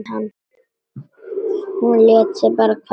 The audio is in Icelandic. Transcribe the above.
Hún lét sig bara hverfa.